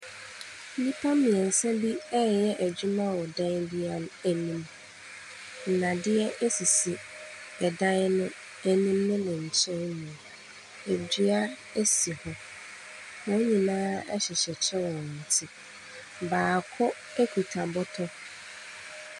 Nnipa mmiɛnsa bi reyɛ adwuma wɔ dan bi ano emu. Nnadeɛ sisi ɛdan no anim ne ne nkyɛnmu. Edu si hɔ wɔn nyinaa hyehyɛ kyɛ wɔ wɔn ti. Baako kita bɔtɔ.